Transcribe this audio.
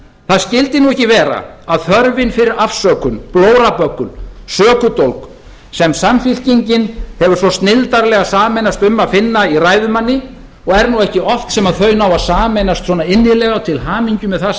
það skyldi nú ekki vera að þörfin fyrir afsökun blóraböggul sökudólg sem samfylkingin hefur svo snilldarlega sameinast um að finna í ræðumanni og er nú ekki oft sem þau ná að sameinast svona innilega og til hamingju með það